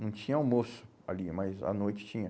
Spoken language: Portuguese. Não tinha almoço ali, mas à noite tinha.